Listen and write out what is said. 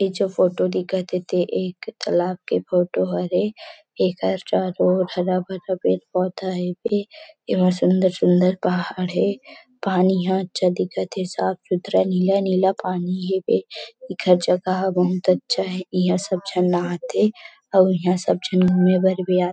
इ जो फोटो दिखत हे ते एक तालाब के फोटो हरे एकर चारों ओर हरा- भरा पेड़- पौधा हेबे एम सुन्दर- सुन्दर पहाड़ है पानी ह अच्छा दिखत हे साफ़ सुथरा नीला -नीला पानी हेबे एखर जगह बहुत अच्छा है इहाँ सब झन नहाथे अउ इहाँ सब झन घूमे भर भी आथे।